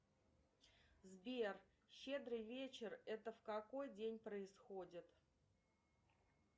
сбер щедрый вечер это в какой день происходит